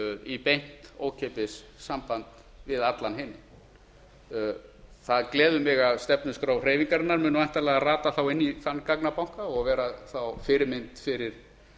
í beint ókeypis samband við allan heim það gleður mig að stefnuskrá hreyfingarinnar muni þá væntanlega rata inn í þann gagnabanka og vera fyrirmynd fyrir